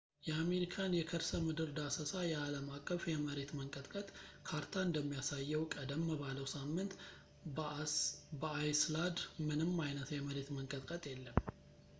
የአሜሪካን የከርሰምድር ዳሰሳ የአለም አቀፍ የመሬት መንቀጥቀጥ ካርታ እንደሚያሳየው ቀደም ባለው ሳምንት በአይስላድ ምንም አይነት የመሬት መንቀጥቀጥ የለም